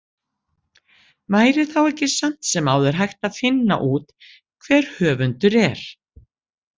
Væri þá ekki samt sem áður hægt að finna út hver höfundur er?